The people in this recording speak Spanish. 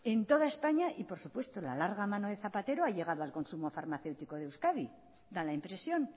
en toda españa y por supuesto la larga mano de zapatero ha llegado al consumo farmacéutico de euskadi da la impresión